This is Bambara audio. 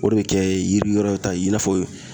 O de bɛ kɛ yiri wɛrɛw ta ye i n'a fɔ